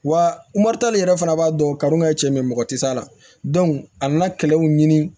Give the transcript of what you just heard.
Wa yɛrɛ fana b'a dɔn karun kɛ cɛ min ye mɔgɔ ti s'a la a nana kɛlɛw ɲini